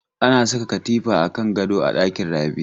Ana saka katifa a kan gado a dakin Rabi.